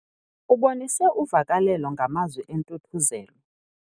Ubonise uvakalelo ngamazwi entuthuzelo.